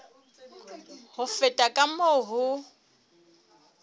ho feta ka moo ho